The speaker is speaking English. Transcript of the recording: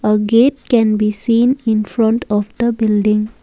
a gate can be seen in front of the building.